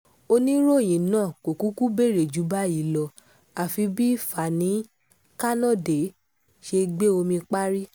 oníròyìn náà kò kúkú béèrè ju báyì lọ àfi bí fani-kanode ṣe gbé omi parí